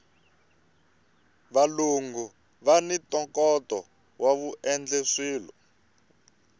valungu vani ntokoto woendla swilo